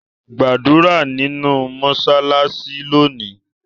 Gbadura ninu mọṣalaṣi loni.